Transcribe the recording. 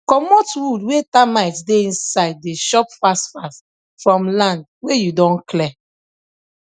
comot wood wey termite dey inside dey chop fast fast from land wey you don clear